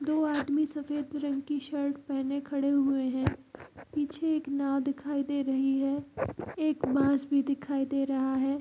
दो आदमी सफ़ेद रंग की शर्ट पहन कर खड़े हुए हैं पीछे एक नाव दिखाई दे रही है एक बांस भी दिखाई दे रहा है।